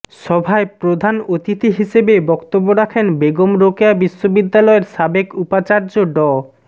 সভায় প্রধান অতিথি হিসেবে বক্তব্য রাখেন বেগম রোকেয়া বিশ্ববিদ্যালয়ের সাবেক উপাচার্য ড